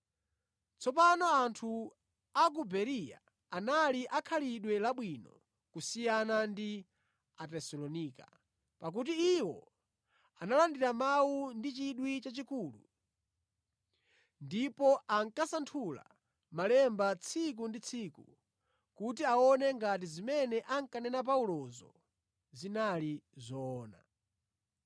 Tsopano anthu a ku Bereya anali akhalidwe labwino kusiyana ndi Atesalonika, pakuti iwo analandira mawu ndi chidwi chachikulu ndipo ankasanthula Malemba tsiku ndi tsiku kuti aone ngati zimene ankanena Paulozo zinali zoona.